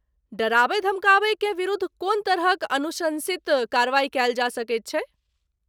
डराबय धमकाबयकेँ विरुद्ध कोन तरहक अनुशंसित कार्रवाइ कयल जा सकैत छै?